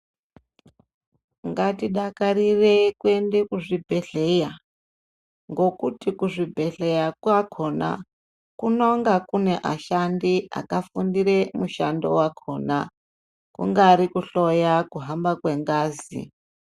Ngatidakarire kuende kuzvibhedhleya ngokuti kuzvibhedhleya kwakhona kunonga kune ashandi akafundire mushando wakhona, kungari kuhloya kuhamba kwengazi.